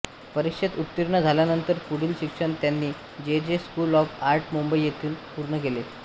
परीक्षेत उत्तीर्ण झाल्यानंतर पुढील शिक्षण त्यांनी J J school of art Mumbai येथून पूर्ण केले